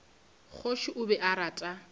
kgoši o be a rata